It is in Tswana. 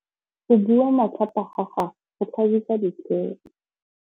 Go bua matlhapa ga gagwe go tlhabisa ditlhong.